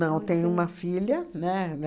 Não, tenho uma filha, né?